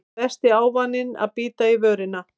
Versti ávaninn að bíta í vörina